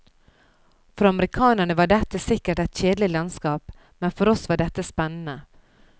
For amerikanerne var dette sikkert et kjedelig landskap, med for oss var dette spennende.